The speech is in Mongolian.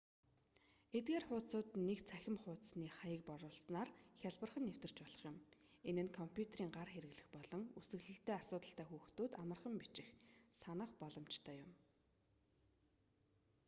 эдгээр хуудсууд нь нэг цахим хуудасны хаяг оруусанаар хялбархан нэвтэрч болох юм энэ нь компьютерын гар хэрэглэх болон үсэглэлдээ асуудалтай хүүхдүүд амархан бичих санах боломжтой юм